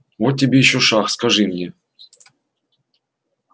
вот тебе ещё шах скажи мне